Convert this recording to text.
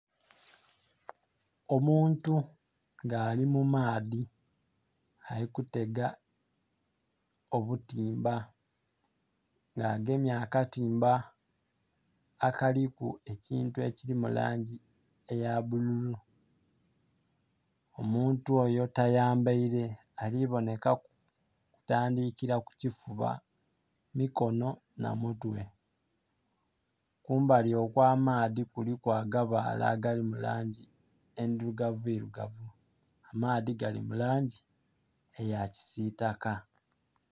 Omuntu ngalimumadhi alikutega obutimba nga'gemye akatimba akaliku ekyintu ekyiri mulangyi eyabululu omuntu oyo tayambere alibonekaku kutandikira kukyifuba, mikonho nhamutwe. Kumbali okwamadhi kuliku agabale akalimulangyi endhulugavuirugavu amadhi galimulangyi eyakyisitaka